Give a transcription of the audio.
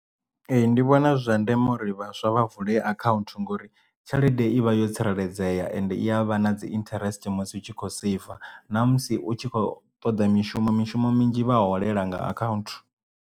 Ee ndi vhona zwi zwa ndeme uri vhaswa vha vule akhaunthu ngori tshelede i vha yo tsireledzea ende iya vha na dzi interest musi u tshi kho save namusi utshi khou toḓa mishumo mishumo minzhi vha holela nga account.